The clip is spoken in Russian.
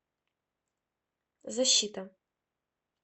защита